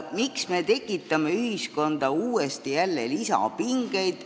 Miks me tekitame ühiskonda jälle lisapingeid?